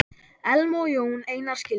Elma og Jón Einar skildu.